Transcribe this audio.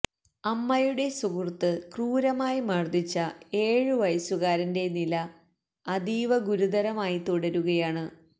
അമ്മയുടെ സുഹൃത്ത് ക്രൂരമായി മർദ്ദിച്ച ഏഴ് വയസ്സുകാരന്റെ നില അതീവഗുരുതരമായി തുടരുകയാണ്